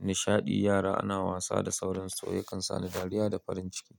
nishaɗi, yara ana wasa da sauransu yakan sani dariya da farin ciki.